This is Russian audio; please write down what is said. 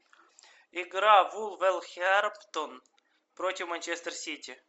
игра вулверхэмптон против манчестер сити